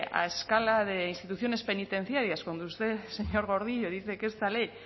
a la escala de instituciones penitenciarias cuando usted señor gordillo dice que esta ley